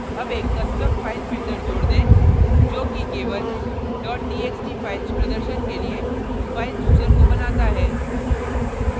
add एक custom file filter जोड़ दें जो कि केवल txt files प्रदर्शन के लिए file chooser को बनाता है